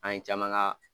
An ye caman ka